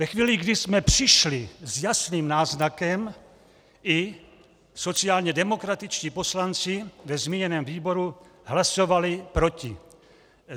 Ve chvíli, kdy jsme přišli s jasným náznakem, i sociálně demokratičtí poslanci ve zmíněném výboru hlasovali proti.